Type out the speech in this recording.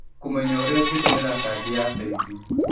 Kũmenya ũrĩa ũngĩtũmĩra kandi ya bengi.